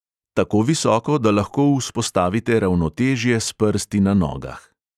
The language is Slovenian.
Tako visoko, da lahko vzpostavite ravnotežje s prsti na nogah.